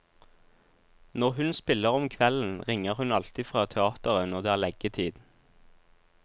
Når hun spiller om kvelden ringer hun alltid fra teateret når det er leggetid.